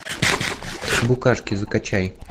букашки закачай